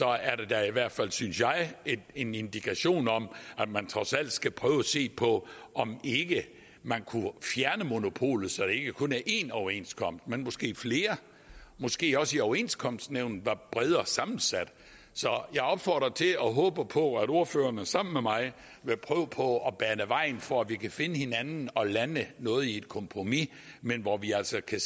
er da i hvert fald synes jeg en indikation af at man trods alt skal prøve at se på om ikke man kunne fjerne monopolet så der ikke kun er én overenskomst men måske flere måske også at overenskomstnævnet var bredere sammensat så jeg opfordrer til og håber på at ordførerne sammen med mig vil prøve på at bane vejen for at vi kan finde hinanden og lande noget i et kompromis men hvor vi altså kan